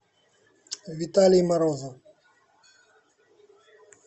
виталий морозов